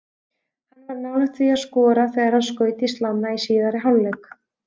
Hann var nálægt því að skora þegar hann skaut í slánna í síðari hálfleik.